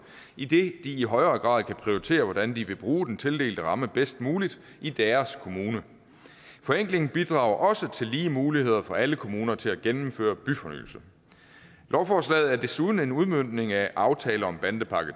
idet de i højere grad kan prioritere hvordan de vil bruge den tildelte ramme bedst muligt i deres kommune forenklingen bidrager også til lige muligheder for alle kommuner til at gennemføre byfornyelse lovforslaget er desuden en udmøntning af aftale om bandepakke